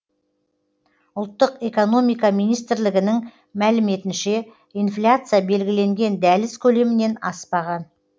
ұлттық экономика министрлігінің мәліметінше инфляция белгіленген дәліз көлемінен аспаған